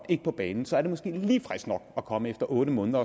ikke på banen så er det måske lige frisk nok at komme efter otte måneder